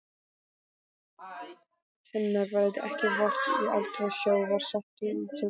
Hennar verður ekki vart í eldra sjávarseti á Tjörnesi.